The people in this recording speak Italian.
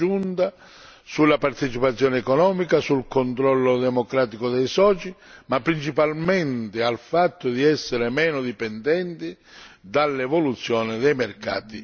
sulla partecipazione economica, sul controllo democratico dei soci, ma principalmente sul fatto di essere meno dipendenti dall'evoluzione dei mercati finanziari.